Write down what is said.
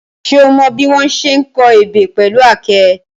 Ṣé o mọ bí wọ́n ṣe ń kọ ebè pẹ̀lú àáké?